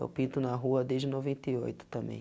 Eu pinto na rua desde noventa e oito